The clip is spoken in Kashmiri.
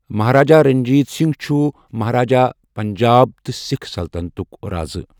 محراجا رَنٛجیٖت سِنٛگھ چهـُ محراجا پَعَنٛجاب تہٕ سکھ سلطنتک رازٕ.